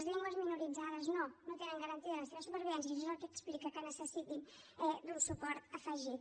les llengües minoritzades no no tenen garantida la seva supervivència i això és el que explica que necessitin un suport afegit